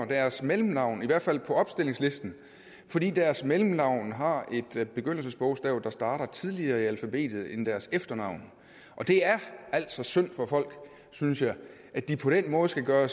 deres mellemnavn i hvert fald på opstillingslisten fordi deres mellemnavn har et begyndelsesbogstav der starter tidligere i alfabetet end deres efternavn og det er altså synd for folk synes jeg at de på den måde skal gøre